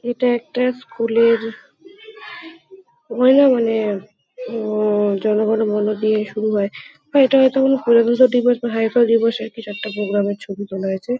এটা একটা স্কুল -এর উম- জন গণ মন দিয়ে শুরু হয় বা এটা হয়তো কোনো প্রজাতন্ত্র দিবস বা স্বাধীনতা দিবসের কিছু একটা প্রোগ্রাম -এর ছবি মনে হয়েছে।